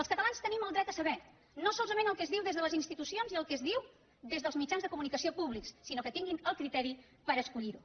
els catalans tenim el dret a saber no solament el que es diu des de les institucions i el que es diu des dels mitjans de comunicació públics sinó que tinguin el criteri per escollir ho